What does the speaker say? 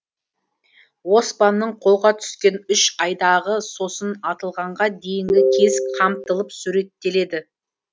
оспанның қолға түскен үш айдағы сосын атылғанға дейінгі кезі қамтылып суреттеледі